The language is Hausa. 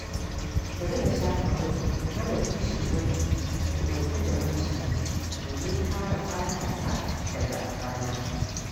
Bari na shafa mai mai hana bushewar jiki mai ɗauke da man shanu domin kare fatata daga rana.